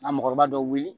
A mɔgɔkɔrɔba dɔ wuli